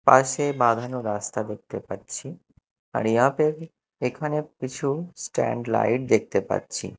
পাশে বাঁধানো রাস্তা দেখতে পাচ্ছি আর ইহাঁপে এখানে কিছু স্ট্যান্ড লাইট দেখতে পাচ্ছি।